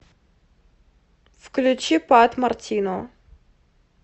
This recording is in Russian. включи пат мартино